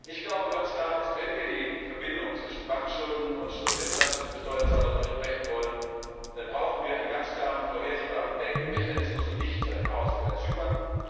Ich glaube, ganz klar ist, wenn wir die Verbindung zwischen Bankschulden und der Belastung für Steuerzahler durchbrechen wollen, dann brauchen wir einen ganz klaren, vorhersehbaren Bail in Mechanismus und nicht so ein Chaos wie bei Zypern.